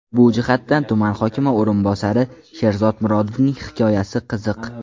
Bu jihatdan tuman hokimi o‘rinbosari Sherzod Murodovning hikoyasi qiziq.